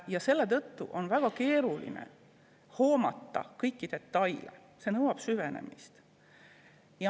Ja selle tõttu on väga keeruline hoomata kõiki detaile, see nõuab süvenemist.